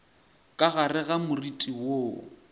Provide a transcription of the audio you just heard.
ka gare ga moriti woo